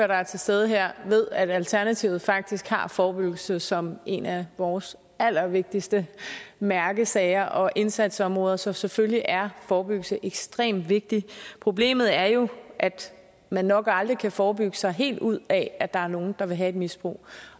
der er til stede her ved at alternativet faktisk har forebyggelse som en af vores allervigtigste mærkesager og indsatsområder så selvfølgelig er forebyggelse ekstremt vigtigt problemet er jo at man nok aldrig kan forebygge sig helt ud af at der er nogle der vil have et misbrug